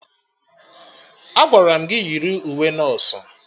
Agwara m gị yiri uwe nọsụ!